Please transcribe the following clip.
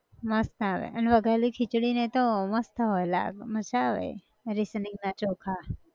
મસ્ત આવે અન વઘારેલી ખીચડી ને એતો મસ્ત હોય લા મઝા આવે rationing ના ચોખા